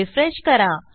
refresh करा